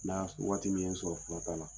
N'a waati min sɔrɔ filata la.